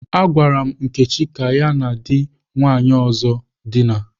M gwara Nkechi ka ya na di nwanyi ozo dina.